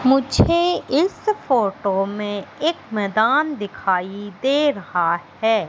मुझे इस फोटो में एक मैदान दिखाई दे रहा है।